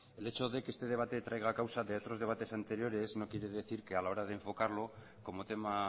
el hecho de que este debate traiga causa de otros debates anteriores no quiere decir que a la hora de enfocarlo como tema